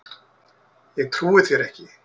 Ég trúi þér ekki!